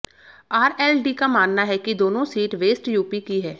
RLD का मानना है कि दोनों सीट वेस्ट यूपी की हैं